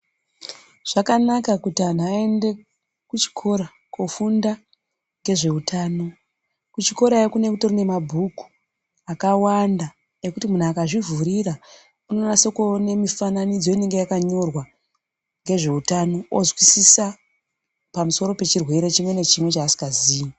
Zvakanaka kuti anhu aende kuchikora kofunda ngezveutano, kuchikorayo kunenge kutori nemabhuku akawanda ekuti munhu akazvivhurira unonase kuone mifananidzo inenge yakanyorwa ngezveutano ozwisisa pamusoro pechirwere chimwe nechimwe chaasingazii